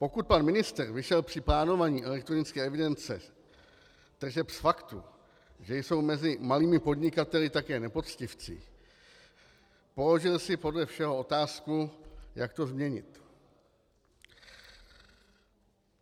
Pokud pan ministr vyšel při plánování elektronické evidence tržeb z faktu, že jsou mezi malými podnikateli také nepoctivci, položil si podle všeho otázku, jak to změnit.